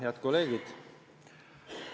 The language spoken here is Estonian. Head kolleegid!